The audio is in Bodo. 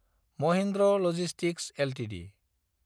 Mahindra logistics Ltd